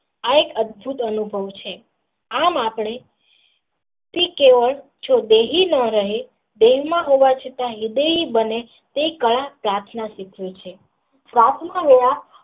આ એક અછત અનુભવ છે આમ આપણે થી કેવળ જો બેહીન રહે તેમના કહેવા છતાં હિદાય બને તે બનિયો છે.